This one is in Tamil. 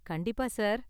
கண்டிப்பா சார்.